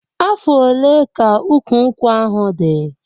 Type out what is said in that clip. Afọ ole ka ụkwụ nkwụ ahụ dị?